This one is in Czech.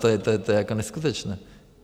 To je jako neskutečné.